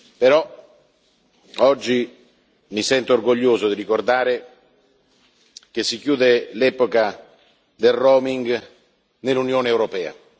Però, oggi, mi sento orgoglioso di ricordare che si chiude l'epoca del roaming nell'Unione europea.